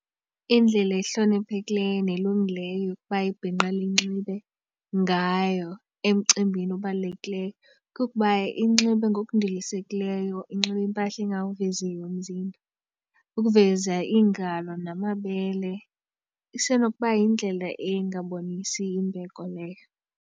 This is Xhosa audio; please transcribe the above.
Indlela ehloniphekileyo nelungileyo ukuba ibhinqa linxibe ngayo emcimbini obalulekileyo kukuba inxibe ngokundilisekileyo inxibe impahla engawuveziyo umzimba. Ukuveza iingalo namabele isenokuba yindlela engabonisi imbeko leyo.